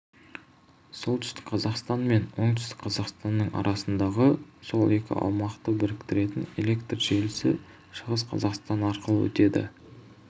солтүстік қазақстан мен оңтүстік қазақстанның арасындағы сол екі аумақты біріктіретін электр желісі шығыс қазақстан арқылы өтеді